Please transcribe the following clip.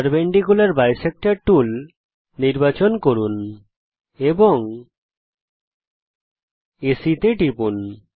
perpendicular bisector tool নির্বাচন করুন এবং এসি তে টিপুন